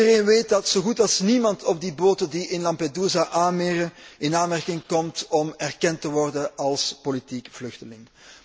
Iedereen weet dat zo goed als niemand op die boten die in Lampedusa aanmeren, in aanmerking komt om erkend te worden als politiek vluchteling.